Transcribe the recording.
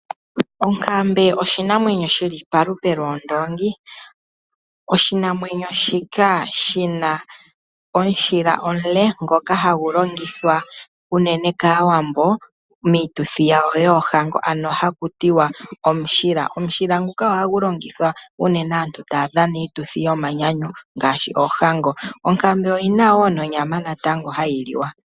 Onkambe oshinamwenyo shi li palupe lwoondoongi. Oshinamwenyo shika oshi na omushila omule ngoka hagu longithwa unene kAawambo miituthi yoohango , ano haku tiwa omushila. Omushila nguka ohagu longithwa unene kaantu ngele taya dhana iituthi yomanyanyu ngaashi oohango. Onkambe oyi na wo nonyama hayi liwa.